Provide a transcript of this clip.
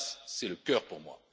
C'est le cœur pour moi.